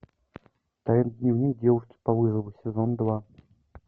тайный дневник девушки по вызову сезон два